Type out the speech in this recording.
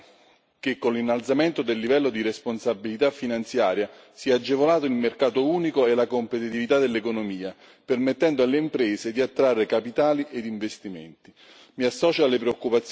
Va infatti sottolineato che, con l'innalzamento del livello di responsabilità finanziaria, sono stati agevolati il mercato unico e la competitività dell'economia, permettendo alle imprese di attrarre capitali ed investimenti.